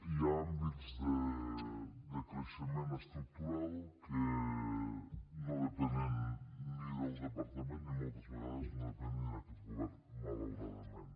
hi ha àmbits de creixement estructural que no depenen ni del departament ni moltes vegades no depenen ni d’aquest govern malauradament